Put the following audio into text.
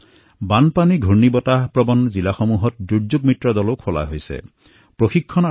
বানপানী ধুমুহাৰ দ্বাৰা হোৱা ক্ষতিৰ বাবে জিলাত স্বেচ্ছাসেৱকসকলৰ প্ৰশিক্ষণৰ বাবেও দুৰ্যোগ বন্ধু নামৰ আঁচনি আৰম্ভ কৰা হৈছে